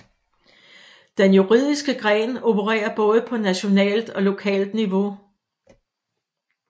Den juridiske gren opererer både på nationalt og lokalt niveau